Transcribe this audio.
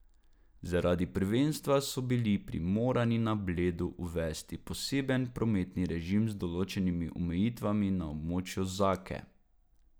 Zaradi prvenstva so bili primorani na Bledu uvesti poseben prometni režim z določenimi omejitvami na območju Zake.